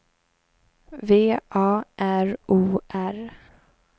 V A R O R